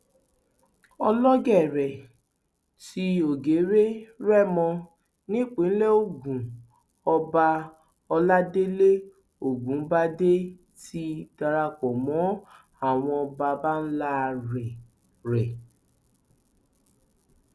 ọlọgẹrẹ ti ògèrè rẹmọ nípìnlẹ ogun ọba ọládélé ọgùnbàdé ti darapọ mọ àwọn baba ńlá rẹ rẹ